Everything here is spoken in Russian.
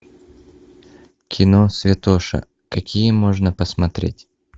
кино святоша какие можно посмотреть